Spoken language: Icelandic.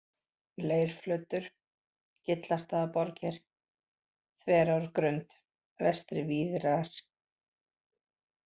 Leirflötur, Gillastaðaborgir, Þverárgrund, Vestari-Víðrar